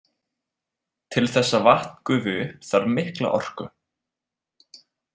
Til þess að vatn gufi upp þarf mikla orku.